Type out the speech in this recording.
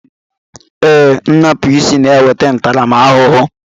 Ee, nnupụisi na-enweta ntaramahụhụ